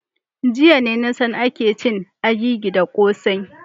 Jiya ne na san ake cin agigi da kossai.